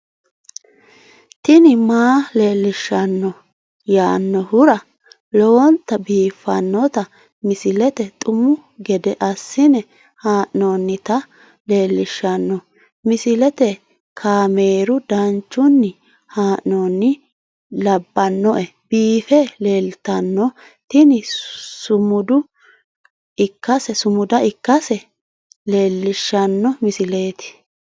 tini maa leelishshanno yaannohura lowonta biiffanota misile xuma gede assine haa'noonnita leellishshanno misileeti kaameru danchunni haa'noonni lamboe biiffe leeeltanno tini sumuda ikkase leelishshanno misileeti